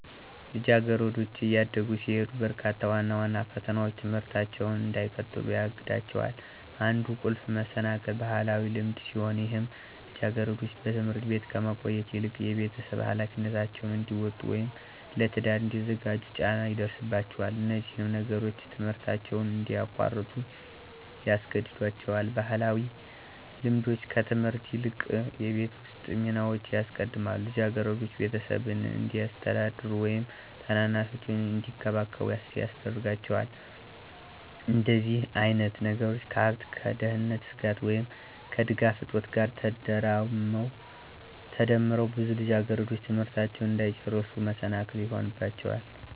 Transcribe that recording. ልጃገረዶች እያደጉ ሲሄዱ በርካታ ዋና ዋና ፈተናዎች ትምህርታቸውን እንዳይቀጥሉ ያግዳቸዋል። አንዱ ቁልፍ መሰናክል ባህላዊ ልማድ ሲሆን ይህም ልጃገረዶች በትምህርት ቤት ከመቆየት ይልቅ የቤተሰብ ኃላፊነታቸውን እንዲወጡ ወይም ለትዳር እንዲዘጋጁ ጫና ይደርስባቸዋል። እነዚህም ነገሮች ትምህርታቸውን እንዲያቋርጡ ያስገድዷቸዋል። ባህላዊ ልማዶች ከትምህርት ይልቅ የቤት ውስጥ ሚናዎችን ያስቀድማሉ፣ ልጃገረዶች ቤተሰብን እንዲያስተዳድሩ ወይም ታናናሻቸውን እንዲንከባከቡ ያስገዳቸዋል። እንደዚህ አይነት ነገሮች ከሃብት፣ ከደህንነት ስጋት፣ ወይም ከድጋፍ እጦት ጋር ተዳምረው ብዙ ልጃገረዶች ትምህርታቸውን እንዳይጨርሱ መሰናክል ይሆንባቸዋል።